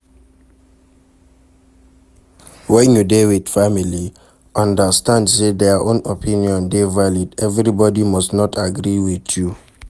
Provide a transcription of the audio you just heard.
When you dey with family, understand sey their own opinion dey valid, everybody must not agree with you